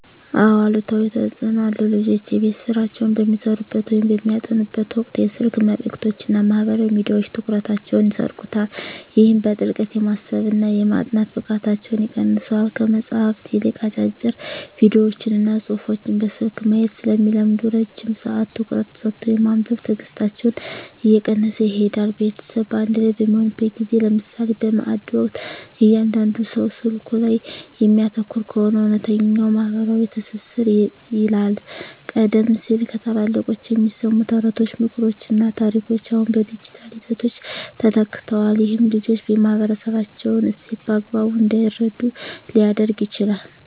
አዎ አሉታዊ ተፅኖ አለው። ልጆች የቤት ሥራቸውን በሚሠሩበት ወይም በሚያጠኑበት ወቅት የስልክ መልእክቶችና ማኅበራዊ ሚዲያዎች ትኩረታቸውን ይሰርቁታል። ይህም በጥልቀት የማሰብና የማጥናት ብቃታቸውን ይቀንሰዋል። ከመጽሐፍት ይልቅ አጫጭር ቪዲዮዎችንና ጽሑፎችን በስልክ ማየት ስለሚለምዱ፣ ረጅም ሰዓት ትኩረት ሰጥቶ የማንበብ ትዕግሥታቸው እየቀነሰ ይሄዳል። ቤተሰብ በአንድ ላይ በሚሆንበት ጊዜ (ለምሳሌ በማዕድ ወቅት) እያንዳንዱ ሰው ስልኩ ላይ የሚያተኩር ከሆነ፣ እውነተኛው ማኅበራዊ ትስስር ይላላል። ቀደም ሲል ከታላላቆች የሚሰሙ ተረቶች፣ ምክሮችና ታሪኮች አሁን በዲጂታል ይዘቶች ተተክተዋል። ይህም ልጆች የማኅበረሰባቸውን እሴት በአግባቡ እንዳይረዱ ሊያደርግ ይችላል።